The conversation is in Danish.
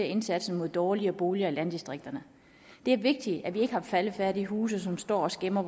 indsatsen mod dårlige boliger i landdistrikterne det er vigtigt at vi ikke har faldefærdige huse som står og skæmmer